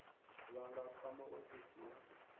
vha nga kwama ofisi ya